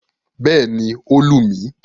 Bẹ́ẹ̀ni, ó lù mí.